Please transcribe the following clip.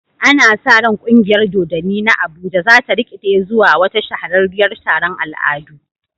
Ana sa ran kungiyar dodanni na Abuja za ta rikide zuwa wata shahararriyar taron al'adu.